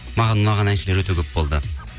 маған ұнаған әншілер өте көп болды